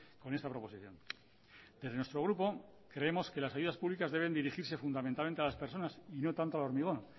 con esta proposición desde nuestro grupo creemos que las ayudas públicas deben dirigirse fundamentalmente a las personas y no tanto al hormigón